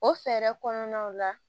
O fɛɛrɛ kɔnɔnaw la